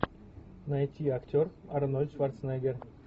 найти актер арнольд шварценеггер